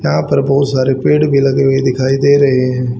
यहां पर बहुत सारे पेड़ भी लगे हुए दिखाई दे रहे हैं।